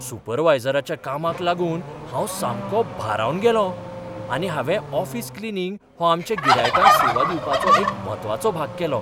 सुपरवायझराच्या कामाक लागून हांव सामको भारावन गेलों आनी हांवें ऑफिस क्लिनींग हो आमच्या गिरायकांक सेवा दिवपाचो एक म्हत्वाचो भाग केलो.